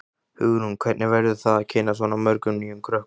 Hugrún: Hvernig verður það að kynnast svona mörgum nýjum krökkum?